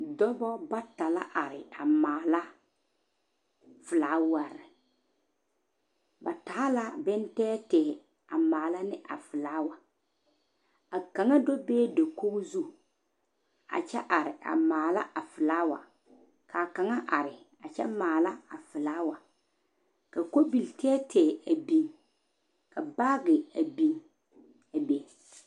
Dɔba bata la are mala felaawa ba taa la boŋ tɛɛtɛɛ a mala ne a felawa a kaŋa do be dakogi zu a kyɛ are male a felawa ka kaŋa are felawa ka kobie tɛɛtɛɛ a big ka baage beŋ a be.